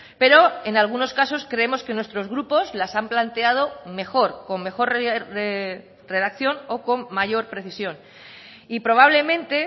pero en algunos casos creemos que nuestros grupos las han planteado mejor con mejor redacción o con mayor precisión y probablemente